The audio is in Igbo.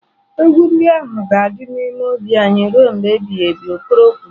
"Egwu ndị ahụ ga-adị n'ime obi anyị ruo mgbe ebighị ebi" okoro kwuru